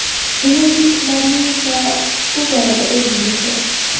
Energetiklarning esa bu borada o‘rni beqiyos.